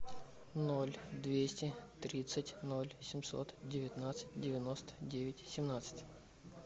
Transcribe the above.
ноль двести тридцать ноль семьсот девятнадцать девяносто девять семнадцать